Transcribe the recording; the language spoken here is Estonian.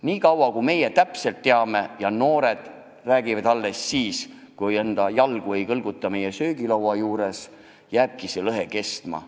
Niikaua kui meie täpselt kõike teame ja noored räägivad alles pärast meid, niikaua kui me muudkui manitseme, et jalgu ei kõlgutata söögilaua ääres, jääbki see lõhe kestma.